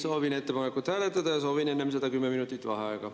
Soovin ettepanekut hääletada ja soovin enne seda 10 minutit vaheaega.